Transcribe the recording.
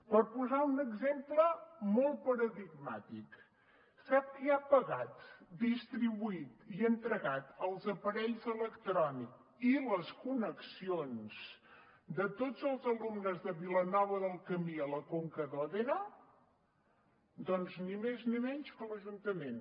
per posar un exemple molt paradigmàtic sap qui ha pagat distribuït i entregat els aparells electrònics i les connexions de tots els alumnes de vilanova del camí a la conca d’òdena doncs ni més ni menys que l’ajuntament